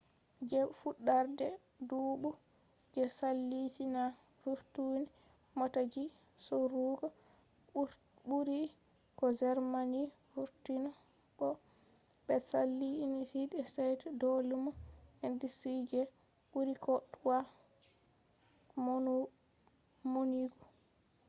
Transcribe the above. je fuɗɗarde duɓu je saali china vurtini mota ji sorugo ɓuri ko germany vurtini bo ɓe saali united states do lumo industry je ɓuri ko toi maunugo